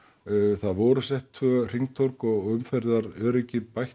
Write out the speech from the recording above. það voru sett tvö hringtorg og umferðaröryggi bætt